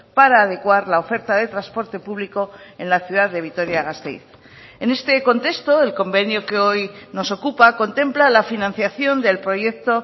para adecuar la oferta de transporte público en la ciudad de vitoria gasteiz en este contexto el convenio que hoy nos ocupa contempla la financiación del proyecto